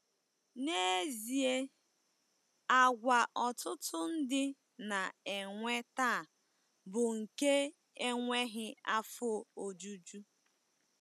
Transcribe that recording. N'ezie, àgwà ọtụtụ ndị na-enwe taa bụ nke enweghị afọ ojuju.